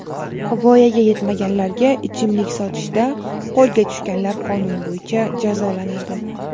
Voyaga yetmaganlarga ichimlik sotishda qo‘lga tushganlar qonun bo‘yicha jazolanadi.